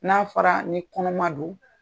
N'a fɔra ni kɔnɔma do.